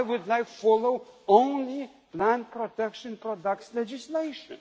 simple. I would like to follow only plant protection product legislation.